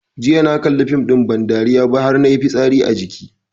Jiya na kalli fim ɗin ban dariya har nayi fitsari a jiki